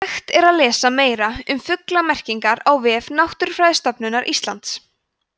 hægt er að lesa meira um fuglamerkingar á vef náttúrufræðistofnunar íslands